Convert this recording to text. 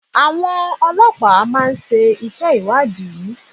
Àwọn ọlọ́pàá inú máa ńṣe ìwádìí inú